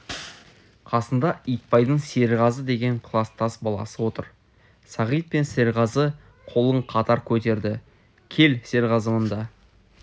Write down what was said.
қасында итбайдың серғазы деген кластас баласы отыр сағит пен серғазы қолын қатар көтерді кел серғазы мұнда